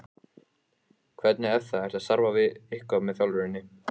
Hvernig er það, ertu að starfa eitthvað með þjálfuninni?